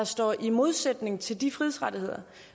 står i modsætning til de frihedsrettigheder